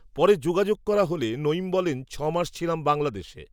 পরে যোগাযোগ করা হলে নঈম বলেন ছমাস ছিলাম বাংলাদেশে